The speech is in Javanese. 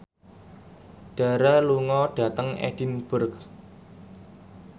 Dara lunga dhateng Edinburgh